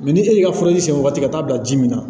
ni e y'i ka furaji sɛbɛn waati ka taa bila ji min na